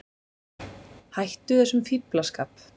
Hættu þessum fíflaskap.